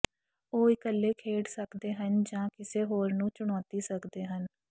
ਉਹ ਇਕੱਲੇ ਖੇਡ ਸਕਦੇ ਹਨ ਜਾਂ ਕਿਸੇ ਹੋਰ ਨੂੰ ਚੁਣੌਤੀ ਸਕਦੇ ਹਨ